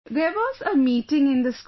There was a meeting in the school